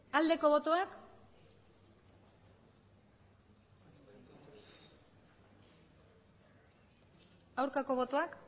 aldeko botoak aurkako botoak